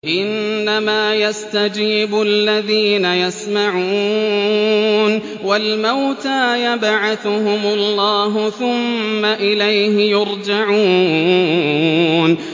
۞ إِنَّمَا يَسْتَجِيبُ الَّذِينَ يَسْمَعُونَ ۘ وَالْمَوْتَىٰ يَبْعَثُهُمُ اللَّهُ ثُمَّ إِلَيْهِ يُرْجَعُونَ